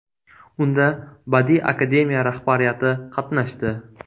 Unda Badiiy Akademiya rahbariyati qatnashdi.